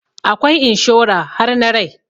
Akwai inshora har na rai